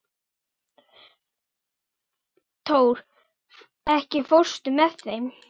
Tór, ekki fórstu með þeim?